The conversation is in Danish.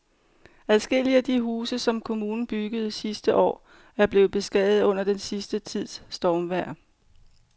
Adskillige af de huse, som kommunen byggede sidste år, er blevet beskadiget under den sidste tids stormvejr.